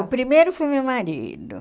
O primeiro foi meu marido.